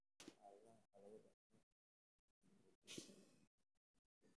Xaaladda waxaa lagu dhaxlaa hab dib u dhac ah oo ku xiran X.